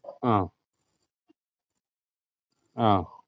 ആ ആഹ് ആഹ്